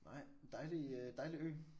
Nej men dejlig øh dejlig ø